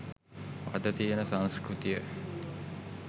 අද තියෙන සංස්කෘතිය.